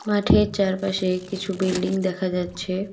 মাঠের চারপাশে কিছু বিল্ডিং দেখা যাচ্ছে।